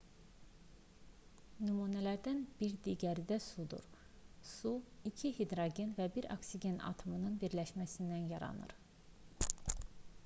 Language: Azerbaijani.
nümunələrdən bir digəri də sudur su iki hidrogen və bir oksigen atomunun birləşməsindən yaranır